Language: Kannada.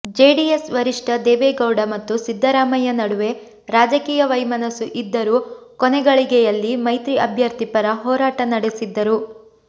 ಜೆಡಿಎಸ್ ವರಿಷ್ಠ ದೇವೇಗೌಡ ಮತ್ತು ಸಿದ್ದರಾಮಯ್ಯ ನಡುವೆ ರಾಜಕೀಯ ವೈಮನಸ್ಸು ಇದ್ದರೂ ಕೊನೆಗಳಿಗೆಯಲ್ಲಿ ಮೈತ್ರಿ ಅಭ್ಯರ್ಥಿ ಪರ ಹೋರಾಟ ನಡೆಸಿದ್ದರು